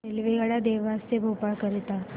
रेल्वेगाड्या देवास ते भोपाळ करीता